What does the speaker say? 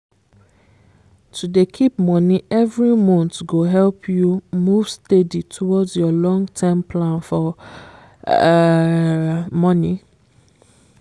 to dey keep money every monthgo help you move steady towards your long -term plan for um money